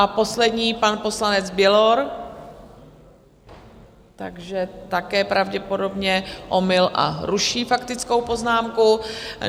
A poslední pan poslanec Bělor... takže také pravděpodobně omyl a ruší faktickou poznámku.